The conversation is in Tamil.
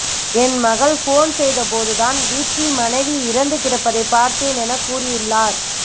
என் மகள் போன் செய்த போது தான் வீட்டில் மனைவி இறந்து கிடப்பதை பார்த்தேன் என கூறியுள்ளார்